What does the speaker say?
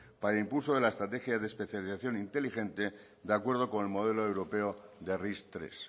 para impulso de la estrategia de especialización inteligente de acuerdo con el modelo europeo de ris tres